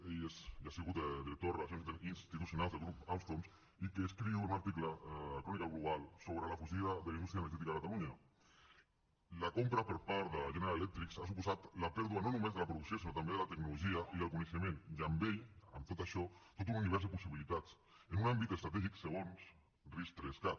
ell ha sigut director de relacions institucionals del grup alstom i que escriu en un article a crónica global sobre la fugida de la indústria energètica a catalunya la compra per part de general electric ha suposat la pèrdua no només de la producció sinó també de la tecnologia i del coneixement i amb ell amb tot això tot un univers de possibilitats en un àmbit estratègic segons ris3cat